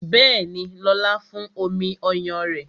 Bẹẹni, lóla fún omi ọyàn rẹ